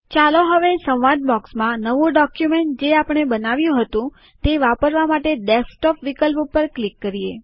ચાલો હવે સંવાદ બૉક્સમાં નવું ડોક્યુમેન્ટ જે આપણે બનાવ્યું હતું તે વાપરવા માટે ડેસ્કટોપ વિકલ્પ ઉપર ક્લિક કરીએ